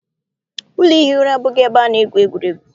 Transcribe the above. Ụlọ ihi ụra abụghị ebe ana-egwuregwu.